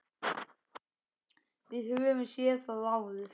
Við höfum séð það áður.